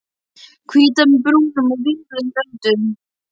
Hvítar með brúnum og vínrauðum röndum.